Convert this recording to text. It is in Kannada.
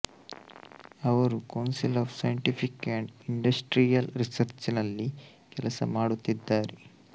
ಅವರು council of scientific and industrial research ನಲ್ಲಿ ಕೆಲಸ ಮಾಡುತ್ತಿದ್ದಾರೆ